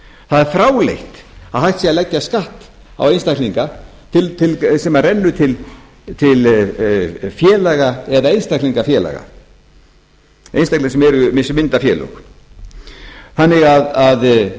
það er fráleitt að hægt sé að leggja skatt á einstaklinga sem rennur til félaga eða einstaklingafélaga einstaklinga sem mynda félög þannig að